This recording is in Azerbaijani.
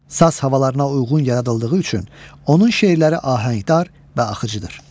Saz havalarına uyğun yaradıldığı üçün onun şeirləri ahəngdar və axıcıdır.